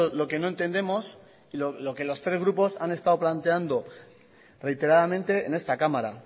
lo que no entendemos y lo que los tres grupos han estado planteando reiteradamente en esta cámara